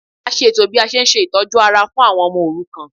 A ṣe ètò bí a ṣe n ṣe itọju ara fún àwọn ọmọ òrukàn